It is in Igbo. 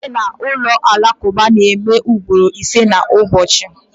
Ekpere n'ụlọ alakụba na-eme ugboro ise n'ụbọchị